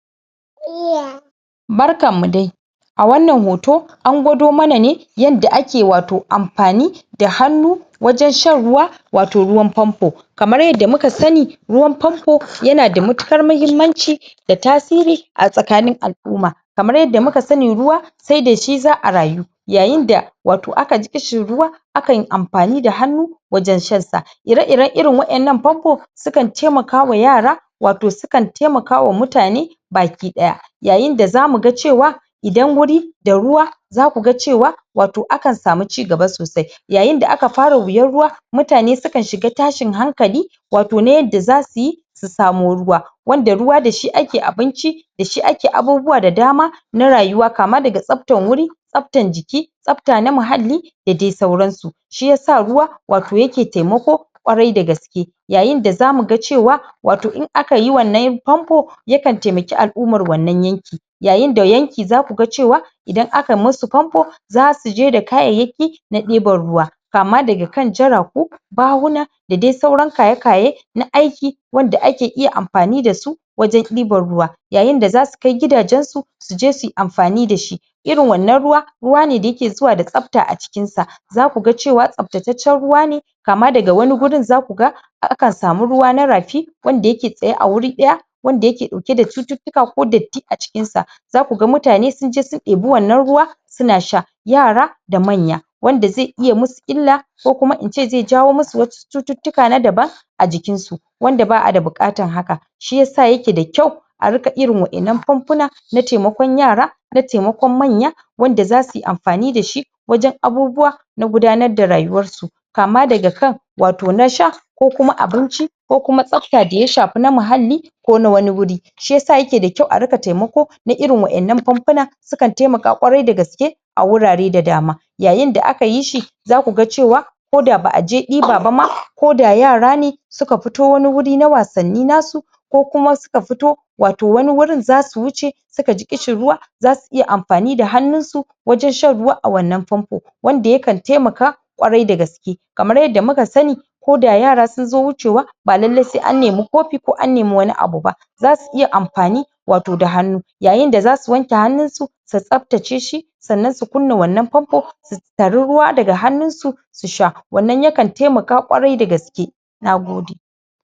Barkan mu dai! A wannan hoto, angwado mana ne yadda ake wato amfani da hannu wajen shan ruwa, wato ruwan famfo. Kamara yadda muka sani ruwan famfo ya na da matuƙar muhimmanci, da tasiri a tsakanin ala'umma. Kamar yadda muka sani ruwa sai da shi za'a rayu. Yayin da aka ji ƙishin ruwa akan yi amfani da wajen shan sa. Ire-iren irin waƴannan famfo sukan taiamakwa yara, wato sukan taimakwa mutane baki ɗaya. Yayin da zamu ga cewa idan wuri da ruwa za ka ga cewa wato akan samu cigaba sosai. Yayin da aka fara wuyar ruwa mutane sukan shiga tashin hankali, wato na yadda za su yi su samo ruwa. Wanda ruwa da shi ake abinci da shi ake abubuwa da dama na rayuwa kama daga tsaftan wuri, tsaftan jiki, tsafta na mahalli da dai sauran su. Shi yasa ruwa wato ya ke taimako ƙwarai da gaske. Yayin da za mu ga cewa wato in aka yi wannan famfo yakan taimaki al'ummar wannan yanki. Yayin da yanki za ku ga cewa idan aka yi masu famfo za su je da kayayyaki na ɗibar ruwa, kama daga kan jaraku, bahuna, da dai sauran kaye-kaye na aiki wanda ake iya amfani da su wajen ibar ruwa. Yayin da zau kai gidajen su, su je suyi amfani da su. Irin wannan ruwa, ruwa ne da ya ke zuwa da tsafta a jikin sa. Za ku ga cewa tsaftataccen ruwa ne, kama daga wani gurin za ku ga akan samu ruwa na rafi wanda ya ke tsaye a wuri ɗaya wanda ya ke ɗauke da cututtuka ko datti a jikin sa. Za ku ga mutane sun je sun ɗebi wannan ruwa su na sha, yara da manya, wanda zai iya musu illa ko kuma ince zai jawo musu wasu cututtuka na daban a jikin su, wanda ba'a da buƙatan hakan, shi yasa ya ke da kyau a riƙa irin waƴannan famfuna na taimako yara, na taimakon manya wnda za suyi amfani da shi wajen abubuwa na gudanar da rayuwar su. Kama daga kan wato na sha, ko kuma abinci, ko kuma tsafta da ya shafi na muhalli ko na wani wuri. Shi yasa ya ke da kyau a riƙa taimako na irn waƴannan famfuna, yakan taimaka ƙwarai da gaske. a wurare da dama. Yayin da aka yi shi za ku ga cewa koda ba'a je ɗiba ba ma, koda yara ne suka fito wani wuri na wasanni na su, ko kuma suka fito wato wani wurin za su wuce suka ji ƙishin ruwa za iya amfani da hannu su wajen shan ruwa a wannan famfo, wanda yakan taimaka ƙwarai da gaske. Kamar yadda muka sani koda yara sun zo wucewa ba lallai sai an nemi kofi ko an nemi wani abu ba. Za su iya amfani wato da hannu. A yayin da za su wanke hannun su, su tsaftace shi, sannan su kunna wannan famfo su tari ruwa daga hannun su su sha, wannan yakan taimaka ƙwarai da gaske. Nagode!